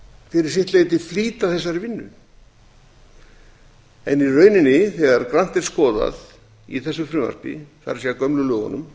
fyrir sitt leyti flýta þessari vinnu en í rauninni þegar grannt er skoðað í þessu frumvarpi það er gömlu lögunum